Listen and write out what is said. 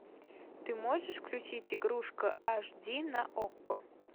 ты можешь включить игрушка аш ди на окко